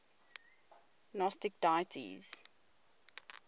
gnostic deities